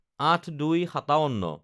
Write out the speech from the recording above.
০৮/০২/৫৭